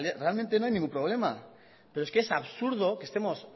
realmente no hay ningún problema pero es que es absurdo que estemos